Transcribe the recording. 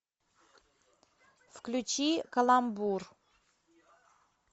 включи каламбур